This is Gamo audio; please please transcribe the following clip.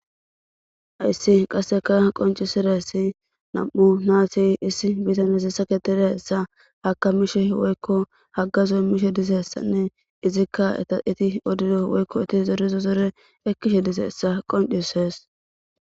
Hayssi qasseka qonccisizayssi issi bitanezi saketizayssa woykohaggazo immishe dizaysanne woyko izi eti zoriza zore ekkishe dizayssa qonccisees.